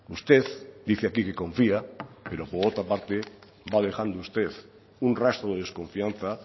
usted dice aquí que confía pero por otra parte va dejando usted un rastro de desconfianza